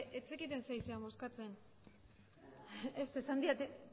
abertzaleak ez eske ez zekiten zer ari ziren bozkatzen ez esan didate